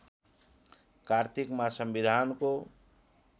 कार्तिकमा संविधानको